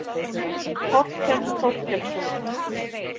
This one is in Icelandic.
Þorkell Þorkelsson.